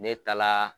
Ne taala